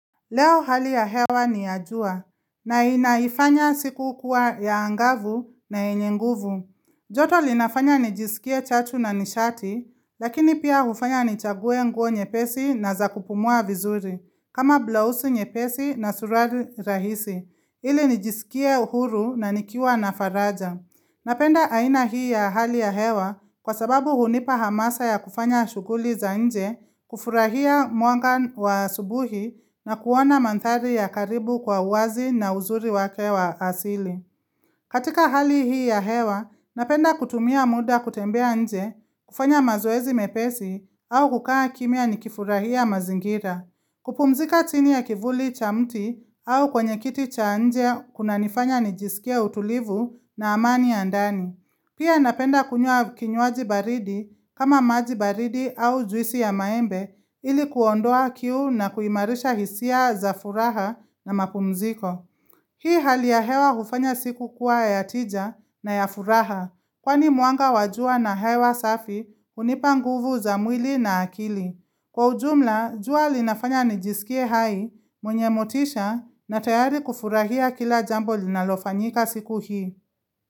Leo hali ya hewa ni ya jua, na inaifanya siku kuwa ya angavu na yenye nguvu. Joto linafanya nijisikie chatu na nishati, lakini pia hufanya nichague nguo nyepesi na za kupumua vizuri, kama blausi nyepesi na suruali rahisi ili nijisikie uhuru na nikiwa na faraja. Napenda aina hii ya hali ya hewa kwa sababu hunipa hamasa ya kufanya shughuli za nje, kufurahia mwanga wa asubuhi na kuona manthari ya karibu kwa uwazi na uzuri wake wa asili. Katika hali hii ya hewa, napenda kutumia muda kutembea nje, kufanya mazoezi mepesi au kukaa kimya nikifurahia mazingira. Kupumzika chini ya kivuli cha mti au kwenye kiti cha nje kunanifanya nijisikie utulivu na amani ya ndani. Pia napenda kunywa kinywaji baridi kama maji baridi au juisi ya maembe ili kuondoa kiu na kuimarisha hisia za furaha na mapumziko. Hii hali ya hewa hufanya siku kuwa ya tija na ya furaha kwani mwanga wa jua na hewa safi hunipa nguvu za mwili na akili. Kwa ujumla, jua linafanya nijisikie hai, mwenye motisha na tayari kufurahia kila jambo linalofanyika siku hii.